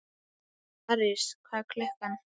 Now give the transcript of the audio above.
París, hvað er klukkan?